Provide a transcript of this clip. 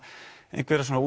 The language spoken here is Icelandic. einhverja svona